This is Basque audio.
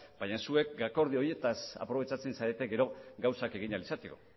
baina zuek akordio horietaz aprobetxatzen zarete gero gauzak egin ahal izateko